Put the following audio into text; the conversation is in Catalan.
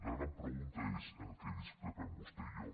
la gran pregunta és en què discrepem vostè i jo